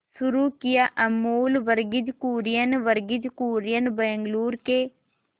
शुरू किया अमूल वर्गीज कुरियन वर्गीज कुरियन बंगलूरू के